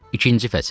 İkinci fəsil.